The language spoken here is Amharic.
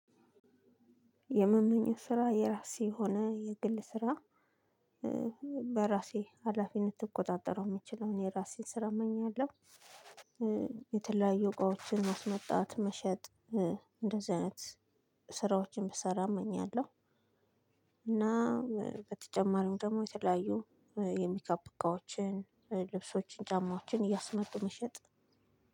የምመኘው ስራ የራሴ የሆነ የግል ስራ በራሴ ሀላፊነት ልቆጣጠረው የምችለውን የራሴን ስር እመኛለሁ። የተለያዩ እቃዎችን ማስመጣት መሸጥ እንደዚህ አይነት ስራዎችን ብሰራ እመኛለሁ። እና በተጨማሪም ደግሞ የተለያዩ የሚካፕ እቃዎችን፣ ልብሶችን :ጫማዎችን እያስመጡ መሸጥ።